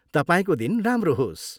तपाईँको दिन राम्रो होस्!